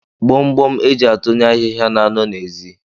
Gbomgbom e ji atụnye ahịhịa na-anọ n'ezi.